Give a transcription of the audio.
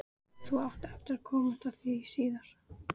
Þú átt eftir að komast að því síðar.